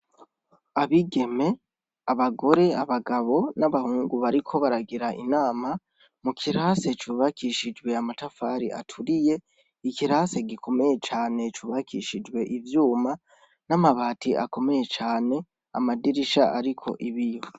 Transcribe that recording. Abigeme, abagore, abagabo n'abahungu bariko baragira inama mu kirasi cubakishijwe amatafari aturiye. Ikirasi gikomeye cane cubakishijwe ivyuma n'amabati akomeye cane, amadirisha ariko ibiyo.